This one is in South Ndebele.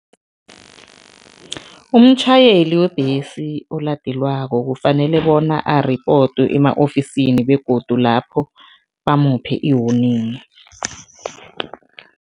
Umtjhayeli webhesi oladelwako kufanele bona aripotwe ema-ofisini begodu lapho bamuphe i-warning.